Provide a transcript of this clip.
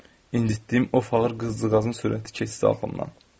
İnditdiyim o qafağı qızdıqca qızdığın sürəti keçdi alnımdan.